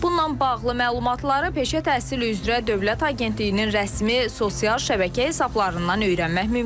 Bununla bağlı məlumatları Peşə Təhsili üzrə Dövlət Agentliyinin rəsmi sosial şəbəkə hesablarından öyrənmək mümkündür.